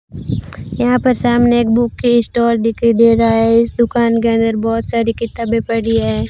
यहां पर सामने एक बुक स्टोर दिखाई दे रहा है इस दुकान के अंदर बहोत सारी किताबें पड़ी है।